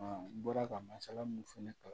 n bɔra ka masala mun fɛnɛ kalan